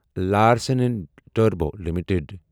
Larsen and Toubro limited